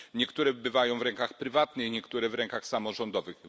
Niektóre bywają w rękach prywatnych, niektóre w rękach samorządowych.